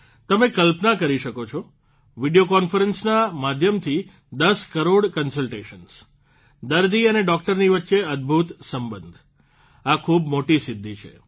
તમે કલ્પના કરી શકો છો વિડીયો કોન્ફરન્સના માધ્યમથી ૧૦ કરોડ કન્સલટેશન્સ દર્દી અને ડોકટરની વચ્ચે અદભૂત સંબંધ આ ખૂબ મોટી સિદ્ધિ છે